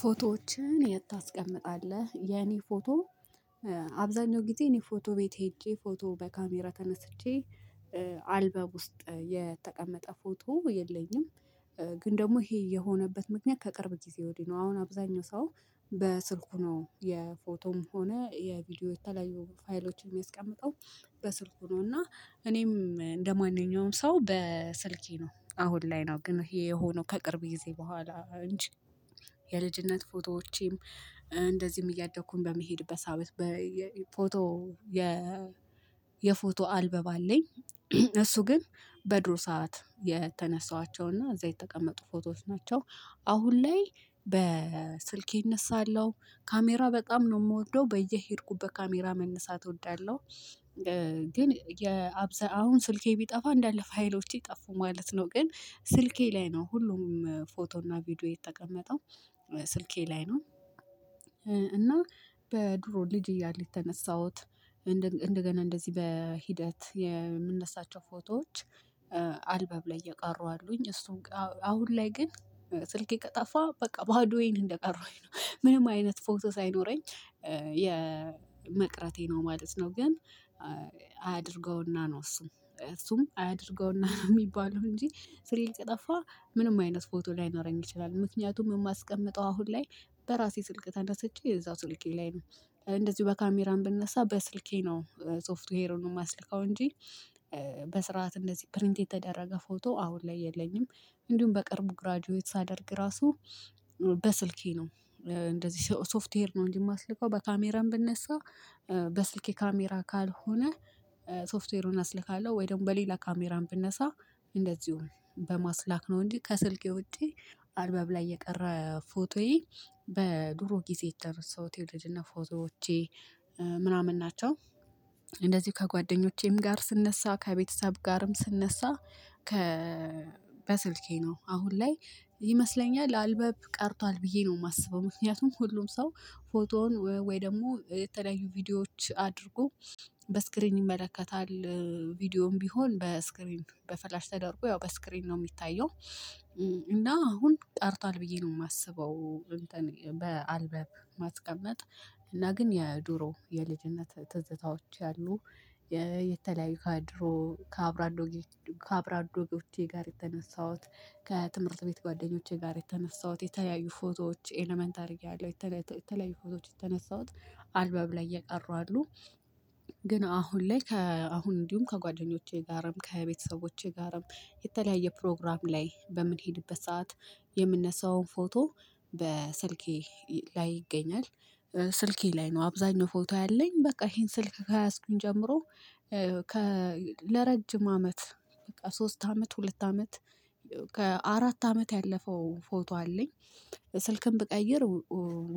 ፎቶዎችን የት ታስቀምጣለህ? የኔ ፎቶ አብዛኛው ጊዜ እኔ ፎቶ ቤት ሄጄ ፎቶ በካሜራ ተነስቼ አልበም ውስጥ የተቀመጠ ፎቶ የለኝም። ግን ደግሞ ይሄ የሆነበት ምክንያት ከቅርብ ጊዜ ወዲህ ነው። አሁን አብዛኛው ሰው በስልኩ ነው የፎቶም ሆነ የቪዲዮ የተለያዩ ፋይሎችን የሚያስቀምጠው። በስልኩ ነው እና እኔም እንደማንኛውም ሰው በስልኬ ነው አሁን ላይ ነው። ግን ይሄ የሆነው ከቅርብ ጊዜ በኋላ እንጂ። የልጅነት ፎቶዎቼም እንደዚህም እያደግኩኝ በምሄድበት በሳቢት በፎቶ የ አልበም አለኝ። እሱ ግን በድሮ ሰዓት የተነሳኋቸው እና እዛ የተቀመጡ ፎቶዎች ናቸው። አሁን ላይ በስልኬ እነሳለሁ ካሜራ በጣም ነው የምወደው በየሄድኩበት ካሜራ መነሳት እወዳለሁ። ግን የአብዛኛውን ስልኬ ቢጠፋ እንዳለ ፋይሎቼ ጠፉ ማለት ነው። ግን ስልኬ ላይ ነው ሁሉም ፎቶ እና ቪዲዮ የተቀመጠው ስልኬ ላይ ነው። እና በድሮ ልጅ እያለው የተነሳሁት። እንደገና እንደዚህ በሂደት የምነሳቸው ፎቶዎች አልበም ላይ እየቀሩ አሉኝ። እሱን አሁን ላይ ግን ስልኬ ከጠፋ በቃ ባዶዬን እንደቀረውኝ ነው ምንም አይነት ፎቶ ሳይኖረኝ የመቅረቴ ነው ማለት ነው። ግን አያድርገውና ነው እሱም እሱም አያድርገውና የሚባለው እንጂ ስሪ ከጠፋ ምንም አይነት ፎቶ ላይኖረኝ ይችላል ምክንያቱም የማስቀምጠው አሁን ላይ በራሴ ስልክ ተነስቼ የዛው ስልኬ ላይ ነው። እንደዚሁ በካሜራም ብነሳ በስልኬ ነው ሶፍት ዌር ይሄዳል ነው የማስልከው እንጂ። በስርዓት እንደዚህ ፕሪንት የተደረገ ፎቶ አሁን ላይ የለኝም። እንዲሁም በቅርቡ ግራጁዌት ሳደርግ ራሱ በስልኬ ነው እንደዚህ ሶፍትዌር ነው እንጂ የማስልከው በካሜራም ብነሳ በስልኬ ካሜራ ካልሆነ ሶፍትዌሩን አስልካለሁ ወይ ደግሞ በሌላ ካሜራም ብነሳ እንደዚሁም በማስላክ ነው። እንጂ ከስልክ ውጪ አልበም ላይ የቀረ ፎቶዬ በድሮ ጊዜ የተረሳሁት የልጅነት ፎቶዎቼ ምናምን ናቸው። እንደዚሁ ከጓደኞቼም ጋር ስነሳ ከቤተሰብ ጋርም ስንነሳ ከ በስልኬ ነው አሁን ላይ ይመስለኛል አልበም ቀርቷል። ብዬ ነው ማስበው ምክንያቱም ሁሉም ሰው ፎቶውን ወይ ደግሞ የተለያዩ ቪዲዮዎች አድርጎ በስክሪን ይመለከታል። ቪዲዮም ቢሆን በስክሪን በፍላሽ ተደርጎ ያው በስክሪን ነው የሚታየው እና አሁን ቀርቷል ብዬ ነው የማስበው። እንትን ማስቀመጥ እና ግን የድሮ የልጅነት ትዝታዎች ያሉ የተለያዩ ከድሮ ከአብራዶ ከአብሮአደጎቼ ጋር የተነሳሁት ከትምህርት ቤት ጓደኞቼ ጋር የተነሳሁት የተለያዩ ፎቶዎች ኤለመንተሪ ላይ እያለሁ የተለያዩ ፎቶዎች የተነሳሁት አልበብ ላይ የቀሩ አሉ። ግን አሁን ላይ ከአሁን እንዲሁም ከጓደኞቼ ጋርም ከቤተሰቦቼ ጋርም የተለያየ ፕሮግራም ላይ በምንሄድበት ሰዓት የምንነሳውን ፎቶ በስልኬ ላይ ይገኛል። ስልኬ ላይ ነው አብዛኛው ፎቶ ያለኝ በቃ ይሄን ስልክ ከያዝኩኝ ጀምሮ ከ ለረጅም አመት ሶስት አመት ሁለት አመት ከአራት አመት ያለፈው ፎቶ አለኝ። ስልክም ብቀይር